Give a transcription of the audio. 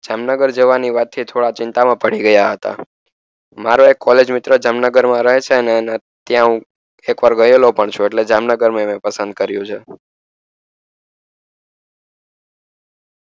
જામનગર જવાની વાત થી ચિંતા માં પડી ગયા હતા મારો એક college મિત્ર જામનગર માં રહે છે અને ત્યાં હું એક વાર ગયેલો પણ છું એટલે